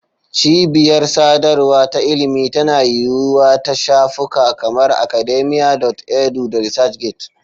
Cibiyar sadarwa ta ilimi tana yiwuwa ta shafuka kamar Academia.edu da ResearchGate.